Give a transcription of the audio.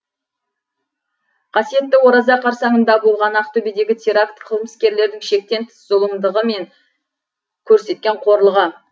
қасиетті ораза қарсаңында болған ақтөбедегі теракт қылмыскерлердің шектен тыс зұлымдығы мен көрсеткен қорлығы